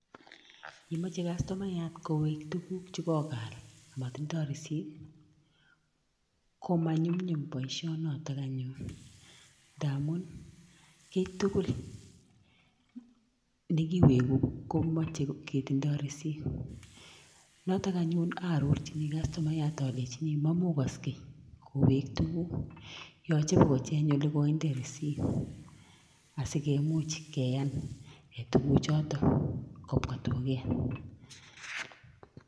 Ye moche customayat kowek tuguk che ko kaal amatindoi risit, komanyumnyum boisionoto anyun, ndamun kiy tugul ne kiweku komache ketindoi risit, noto anyun arorchini customayat alechini mamukoske kowek tuguk, yoche bo kocheng ole koinde risit asi kemuch keyan tukuchoto kobwa duket.